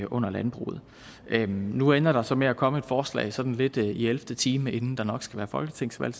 under landbruget nu ender der så med at komme et forslag sådan lidt i ellevte time inden der nok snart skal være folketingsvalg